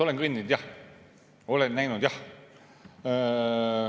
Olen kõndinud jah, olen näinud jah.